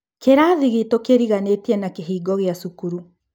Kĩrathi gitũ kĩriganītīe na kĩhingo gĩa cukuru.